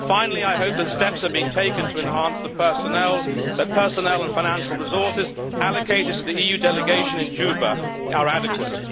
Finally, I hope that steps are being taken to ensure that the personnel and financial resources allocated to the EU delegation in Juba are adequate.